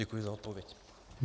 Děkuji za odpověď.